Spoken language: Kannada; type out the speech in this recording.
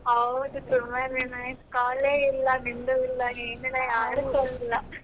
ಹೌದು ತುಂಬಾ ದಿನ ಆಯ್ತ call ಏ ಇಲ್ಲ .